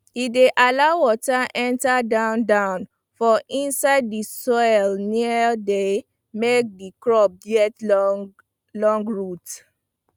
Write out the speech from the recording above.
e dey allow water enter down down for inside di soil naim dey make di crops get long root